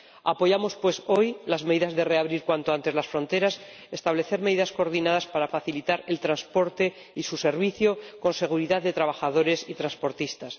Apoyamos, pues, hoy las medidas de reabrir cuanto antes las fronteras y el establecimiento de medidas coordinadas para facilitar el transporte y su servicio con seguridad de trabajadores y transportistas.